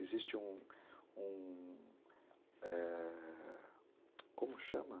Existe um um... é... Como chama?